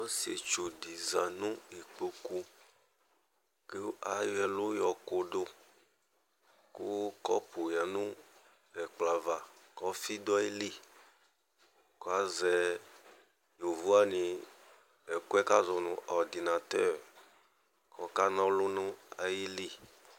Ɔsɩetsu dɩ za nʋ ikpoku ,kʋ ayɔ ɛlʋ yɔ kʋdʋ Kʋ kɔpʋ yǝ nʋ ɛkplɔava k'ɔfɩ dʋ ayili Ka azɛ yovowanɩ ɛkʋɛ k''azɔ nʋ ordinateur ,k'ɔkan'ɔlʋ n'ayili